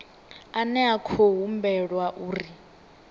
ane a khou humbulelwa uri